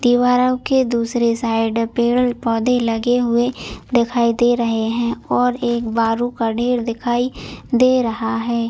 दीवारों की दूसरी साइड पेड़-पोधे लगे हुए दिखाई दे रहे है और एक बारू का ढेर दिखाई दे रहा है।